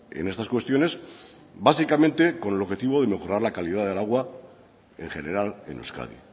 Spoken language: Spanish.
en estas cuestiones básicamente con el objetivo de mejorar la calidad del agua en general en euskadi